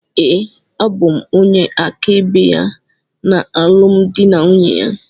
Ee, abụ m onye áká ebe ya na alụmdi na nwunye ya.